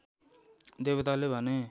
देवताले भने